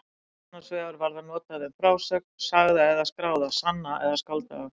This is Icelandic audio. Annars vegar var það notað um frásögn, sagða eða skráða, sanna eða skáldaða.